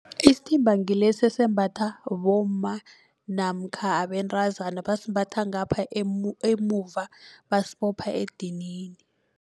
Isithimba ngilesa esembatha bomma namkha abentazana basimbatha ngapha emuva basibopha edinini.